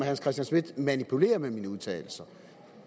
hans christian schmidt manipulerer med mine udtalelser